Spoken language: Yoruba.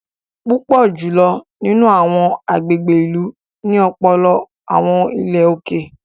Púpọ jùlọ nínú awọn agbègbè ìlú ní ọpọlọpọ awọn ilé òkè